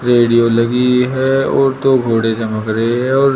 radio लगी हुई है और दो घोड़े चमक रहे है और--